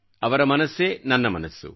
ಅವರ ಮನಸ್ಸೇ ನನ್ನ ಮನಸ್ಸು